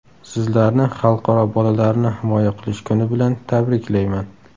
Sizlarni Xalqaro bolalarni himoya qilish kuni bilan tabriklayman!